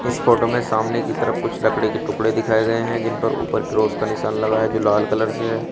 इस फोटो में सामने की तरफ कुछ लकड़ी के टुकड़े दिखाए गए हैं जिन पर ऊपर क्रॉस का निशान लगा है जो लाल कलर से है।